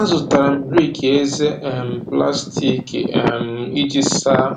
Azụtara m riki eze um plastik um iji saa